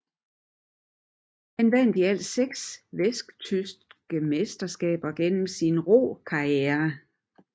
Han vandt i alt seks vesttyske mesterskaber gennem sin rokarriere